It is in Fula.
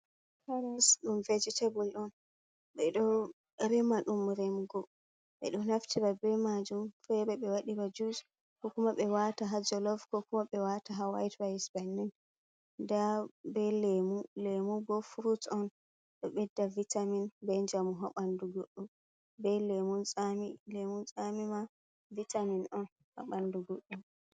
Karas ɗum vejetabal on, beɗo rema ɗum remugu, ɓe ɗo naftira be majum fere ɓe waɗira jus, kokuma ɓe wata ha jalov, ko kuma ɓe wata ha white rise bannin, nda be lemu, lemu bo furut on ɗo ɓedda vitamin be njamu ha ɓandu guɗɗo, be lemun tsami, lemun tsamima vitamin on haɓandu guɗɗo.